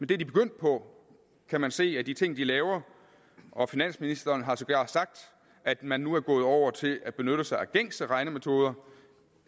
det er de begyndt på kan man se på de ting de laver finansministeren har sågar sagt at man nu gået over til at benytte sig af gængse regnemetoder